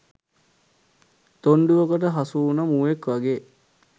තොණ්ඩුවකට හසුවුණ මුවෙක් වගේ